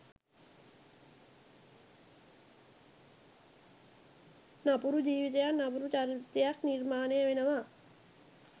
නපුරු ජීවිතයක් නපුරු චරිතයක් නිර්මාණය වෙනවා.